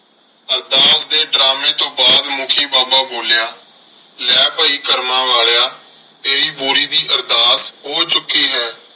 ਅਰਦਾਸ ਦੇ ਡਰਾਮੇ ਤੋਂ ਬਾਅਦ ਮੁੱਖੀ ਬਾਬਾ ਬੋਲਿਆ ਲੈ ਭਾਈ ਕਰਮਾਂ ਵਾਲਿਆ ਤੇਰੀ ਬੋਰੀ ਦੀ ਅਰਦਾਸ ਹੋ ਚੁੱਕੀ ਹੈ।